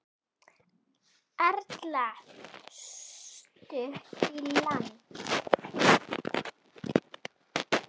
Erla: Stutt í land?